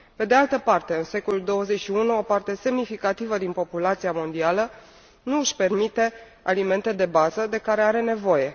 Pe de altă parte, în secolul XXI, o parte semnificativă din populația mondială nu își permite alimentele de bază de care are nevoie.